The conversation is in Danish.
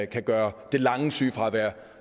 kan gøre det lange sygefravær